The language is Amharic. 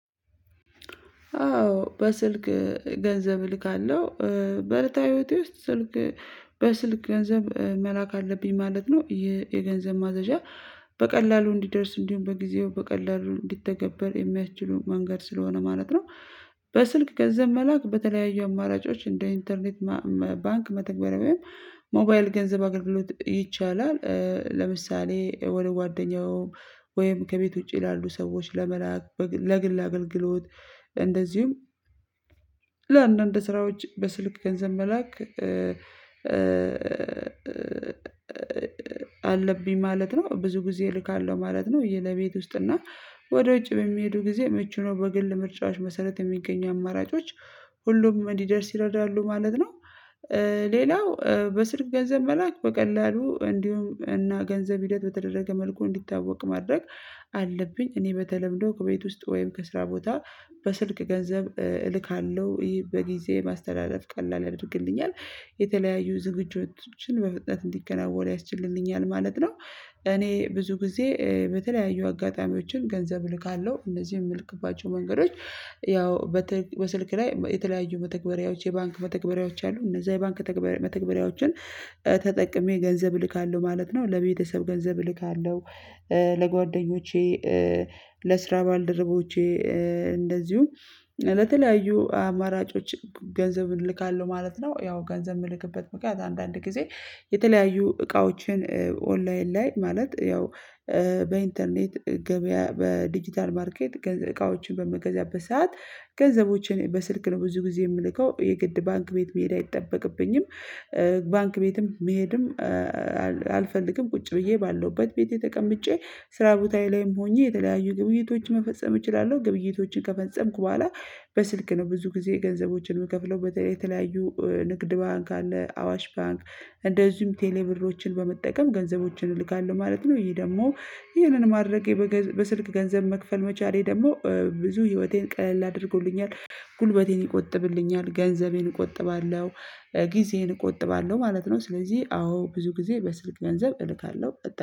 አዎ በስልክ ገንዘብ እልካለሁ በእለታዊ ህይወቴ ውስጥ ስልክ በስልክ ገንዘብ መላክ አለብኝ ማለት ነው። የገንዘብ ማዘዣ በቀላሉ እንዲደርስ እንዲሁም በጊዜው በቀላሉ እንዲተገበር የሚያስችሉ መንገድ ስለሆነ ማለት ነው። በስልክ ገንዘብ መላክ በተለያዩ አማራጮች እንደ ኢንተርኔት ባንክ መተግበር ወይም ሞባይል ገንዘብ አገልግሎት ይቻላል። ለምሳሌ ወደ ጓደኛው ወይም ከቤት ውጪ ያሉ ሰዎች ለመላክ ለግል አገልግሎት። እንደዚሁም ለአንዳንድ ስራዎች በስልክ ገንዘብ መላክ አለብኝ ማለት ነው ብዙ ጊዜ እልካለሁ ማለት ነው። ይህ ለቤት ውስጥ እና ወደ ውጭ በሚሄዱ ጊዜ ምቼ ነው። በግል ምርጫዎች መሰረት የሚገኙ አማራጮች ሁሉም እንዲደርስ ይረዳሉ ማለት ነው። ሌላው በስልክ ገንዘብ መላክ በቀላሉ እንዲሁም እና ገንዘብ ሂደት በተደረገ መልኩ እንዲታወቅ ማድረግ አለብኝ። እኔ በተለምዶ ከቤት ውስጥ ወይም ከስራ ቦታ በስልክ ገንዘብ እልካለሁ ይሄ በጊዜ ማስተላለፍ ቀላል ያደርግልኛል። የተለያዩ ዝግጁነቶችን በፍጥነት እንዲከናወኑ ያስችልልኛል ማለት ነው። እኔ ብዙ ጊዜ በተለያዩ አጋጣሚዎችን ገንዘብ ልካለሁ እነዚህ የምልክባቸው መንገዶች ያው በስልክ ላይ የተለያዩ መተግበሪያዎች የባንክ መተግበሪያዎች አሉ። እነዛ የባንክ መተግበሪያዎችን ተጠቅሜ ገንዘብ እልካለሁ ማለት ነው። ለቤተሰብ ገንዘብ እልካለሁ። ለጓደኞቼ ለስራ ባልደረቦቼ። እንደዚሁም ለተለያዩ አማራጮች ገንዘብን እልካለሁ ማለት ነው። ያው ገንዘብ የምልክበት ምክንያት አንዳንድ ጊዜ የተለያዩ እቃዎችን ኦንላይን ላይ ማለት ያው በኢንተርኔት ገበያ በዲጂታል ማርኬት እቃዎችን በምገዛበት ሰዓት ገንዘቦችን በስልክ ነው ብዙ ጊዜ የምልከው የግድ ባንክ ቤት መሄድ አይጠበቅብኝም። ባንክ ቤትም መሄድም አልፈልግም ቁጭ ብዬ ባለሁበት ቤቴ ተቀምጬ ስራ ቦታዬ ላይም ሆኜ የተለያዩ ግብይቶችን መፈጸም እችላለሁ። ግብይቶችን ከፈጸምኩ በኋላ በስልክ ነው ብዙ ጊዜ ገንዘቦችን የምከፍለው በተለይ የተለያዩ ንግድ ባንክ አለ አዋሽ ባንክ ቴሌብሎችን በመጠቀም ገንዘቦችን እልካለሁ ማለት ነው። ይሄ ደግሞ ይሄንን ማድረጌ በስልክ ገንዘብ መክፈል መቻሌ ደግሞ ብዙ ህይወቴን ቀለል አድርጎልኛል ጉልበቴን ይቆጥብልኛል ገንዘቤን እቆጥባለሁ ጊዜዬን እቆጥባለሁ ማለት ነው። ስለዚህ አዎ ብዙ ጊዜ በስልክ ገንዘብ እልካለሁ